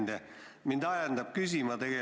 Hea ettekandja!